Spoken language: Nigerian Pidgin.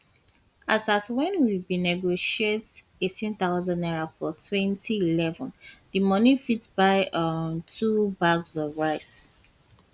as at wen we bin negotiate n18000 for 2011 di money fit buy um two bags of bags of rice